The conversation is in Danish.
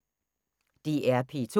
DR P2